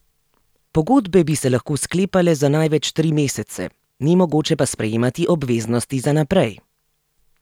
Pogodbe bi se lahko sklepale za največ tri mesece, ni mogoče pa sprejemati obveznosti za naprej.